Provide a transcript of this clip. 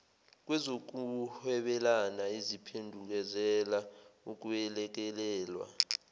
kwezokuhwebelana eziphendukezela ukwelekelelwa